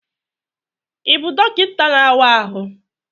Ị bụ dọkịta n'awa ahụ?